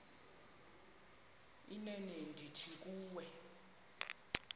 inene ndithi kuwe